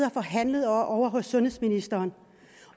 og forhandlet om ovre hos sundhedsministeren